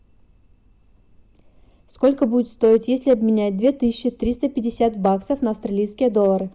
сколько будет стоить если обменять две тысячи триста пятьдесят баксов на австралийские доллары